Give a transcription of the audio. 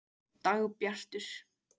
Dagbjartur